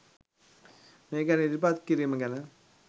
මේ ගැන ඉදිරිපත් කිරිම ගැන